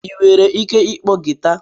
Ị nwere ike ịkpọ guitar?